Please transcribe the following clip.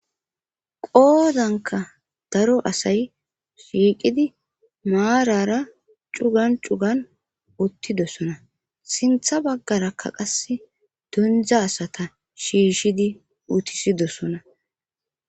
qoodanka daro asay shiiqidi maarara cugan cugan uttidosona. sintha baggarakka qase donzha asata shiishidi utisidosona